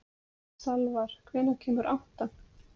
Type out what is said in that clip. Salvar, hvenær kemur áttan?